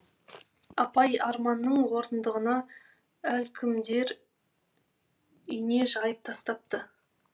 апай арманның орындығына әлдекімдер ине жайып тастапты